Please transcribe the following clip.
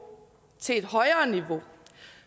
til et højere niveau